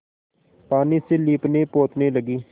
पानी से लीपनेपोतने लगी